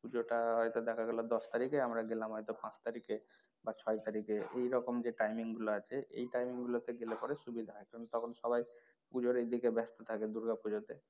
পুজোর টা হয়তো দেখা গেলো দশ তারিখে আমরা গেলাম হয়তো পাঁচ তারিখে বা ছয় তারিখে এরকম যে time গুলো আছে এই time গুলো তে গেলে পরে সুবিধা হয় কারন তখন সবাই পুজর এদিকে ব্যাস্ত থাকে দুর্গা পুজো তে।